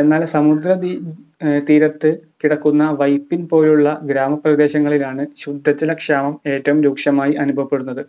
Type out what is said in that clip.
എന്നാൽ സമുദ്രതീരത്ത് കിടക്കുന്ന വൈപ്പിൻ പോലുള്ള ഗ്രാമപ്രദേശങ്ങളിലാണ് ശുദ്ധജലക്ഷാമം ഏറ്റവും രൂക്ഷമായി അനുഭവപ്പെടുന്നത്